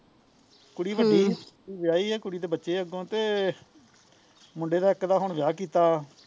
ਕੁਸੀ ਵੱਡੀ ਸੀ ਹਮ ਵਿਆਹੀ ਸੀ ਤੇ ਬੱਚੇ ਆ ਅੱਗੋਂ ਤੇ ਮੁੰਡੇ ਦਾ ਇੱਕ ਦਾ ਹੁਣ ਵਿਆਹ ਕੀਤਾ